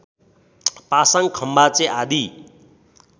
पासाङ खम्बाचे आदि